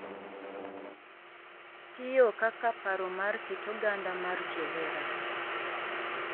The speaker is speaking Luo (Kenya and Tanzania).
Tiyo kaka paro mar kit oganda mar johera